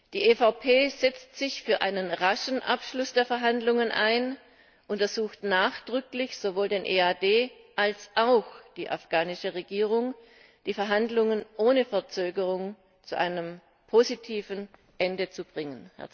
Die EVP setzt sich für einen raschen Abschluss der Verhandlungen ein und ersucht nachdrücklich sowohl den EAD als auch die afghanische Regierung, die Verhandlungen ohne Verzögerungen zu einem positiven Ende zu bringen.